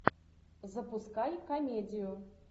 запускай комедию